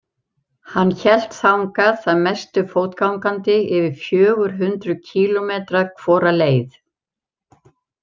Hann hélt þangað að mestu fótgangandi, yfir fjögur hundruð kílómetra hvora leið.